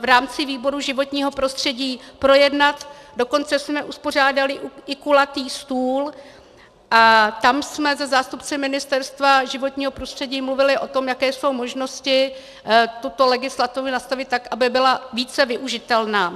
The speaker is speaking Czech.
v rámci výboru životního prostředí projednat, dokonce jsme uspořádali i kulatý stůl a tam jsme se zástupci Ministerstva životního prostředí mluvili o tom, jaké jsou možnosti tuto legislativu nastavit tak, aby byla více využitelná.